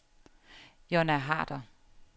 Jonna Harder